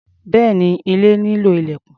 Bẹ́ẹ̀ni, ilé nílò ilẹ̀kùn.